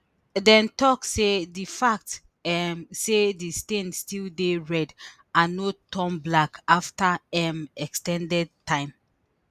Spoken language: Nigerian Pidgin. dem tok say di fact um say di stain still dey red and no turn black afta um ex ten ded time